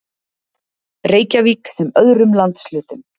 Reykjavík sem öðrum landshlutum.